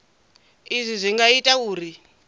izwi zwi nga ita uri